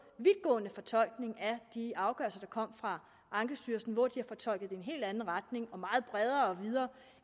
vidtgående fortolkning af de afgørelser der er kommet fra ankestyrelsen hvor de har fortolket en helt anden retning og meget bredere og videre